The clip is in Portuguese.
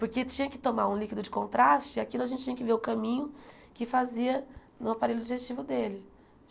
Porque tinha que tomar um líquido de contraste e aquilo a gente tinha que ver o caminho que fazia no aparelho digestivo dele.